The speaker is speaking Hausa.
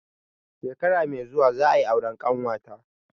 Shekara mai zuwa za a yi auren ƙanwa ta.